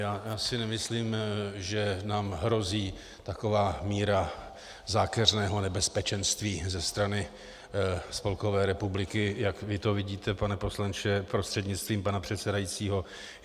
Já si nemyslím, že nám hrozí taková míra zákeřného nebezpečenství ze strany Spolkové republiky, jak vy to vidíte, pane poslanče prostřednictvím pana předsedajícího.